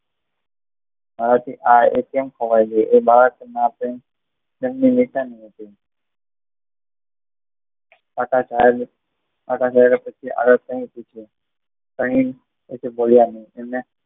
મારાથી આ કેમ ખોવાઈ ગઈ તેમની નિશાની હતી કાકા સાહેબની